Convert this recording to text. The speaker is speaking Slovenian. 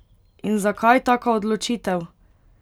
In zakaj taka odločitev?